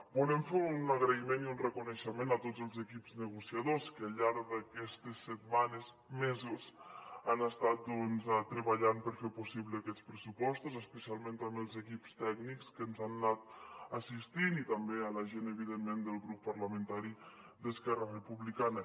volem fer un agraïment i un reconeixement a tots els equips negociadors que al llarg d’aquestes setmanes mesos han estat treballant per fer possible aquests pressupostos especialment també als equips tècnics que ens han anat assistint i també a la gent evidentment del grup parlamentari d’esquerra republicana